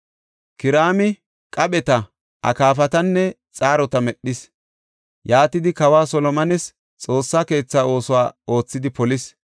Kiraami qapheta, akaafatanne xaarota medhis; yaatidi kawa Solomones Xoossa keetha oosuwa oothidi polis.